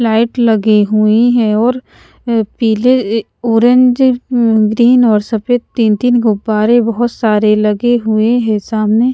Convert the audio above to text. light लगी हुईं है और पीले अ ऑरेंज म्म ग्रीन और सफेद तीन तीन गुब्बारे बहुत सारे लगे हुए हैं सामने --